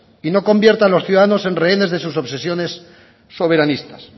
y no convierta a los ciudadanos en rehenes de sus obsesiones soberanistas